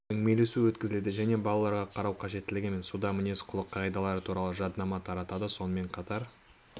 әңгімелесу өткізеді және балаларға қарау қажеттілігі мен судағы мінез-құлық қағидалары туралы жаднама таратады сонымен қатар